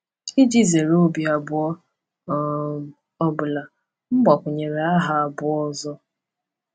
Iji zere obi abụọ um ọ bụla, m gbakwunyere aha abụọ ọzọ.